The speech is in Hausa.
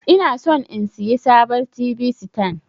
Inason in siya sabon t.v sitan.